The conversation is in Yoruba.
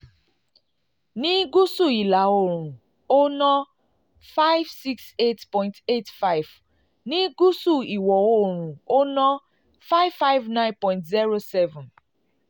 ní gúúsù ìlà oòrùn ó ná five six eight point eight five ní gúúsù ìwọ̀ oòrùn ó ná five five nine point zero seven.